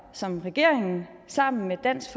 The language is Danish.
som regeringen sammen med dansk